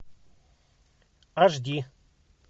аш ди